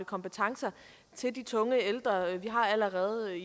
kompetencer til de tunge ældre vi allerede